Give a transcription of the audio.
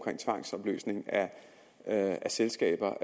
med tvangsopløsning af af selskaber